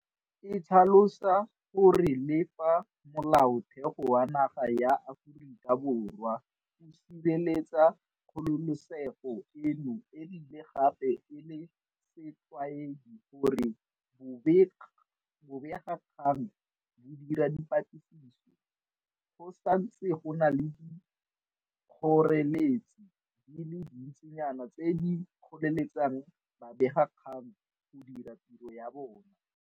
E tlhalosa gore le fa Molaotheo wa naga ya Aforika Borwa o sireletsa kgololesego eno e bile gape e le setlwaedi gore bobegakgang bo dira dipatlisiso, go santse go na le dikgoreletsi di le dintsinyana tse di kgoreletsang babegakgang go dira tiro ya bona.